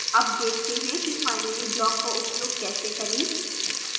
अब देखते हैं कि finally block का उपयोग कैसे करें